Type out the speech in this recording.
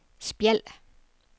Spjald